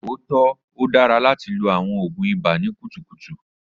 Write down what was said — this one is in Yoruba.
O tọ, o dara lati lo awọn oògùn ibà ni kutukutu.